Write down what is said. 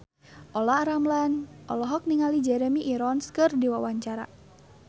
Olla Ramlan olohok ningali Jeremy Irons keur diwawancara